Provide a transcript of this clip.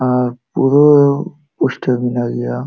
ᱟᱨ ᱯᱩᱨᱟᱹ ᱯᱭᱥᱴᱟᱹᱣ ᱢᱮᱱᱟᱜ ᱜᱤᱭᱟ᱾